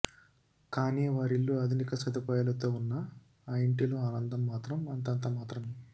కాని వారి ల్లు ఆధునిక సదుపాయాలతో ఉన్నా ఆ ఇంటిలో ఆనందం మాత్రం అంతంత మాత్రమే